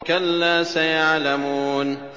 كَلَّا سَيَعْلَمُونَ